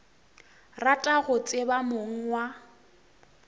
rata go tseba mong wa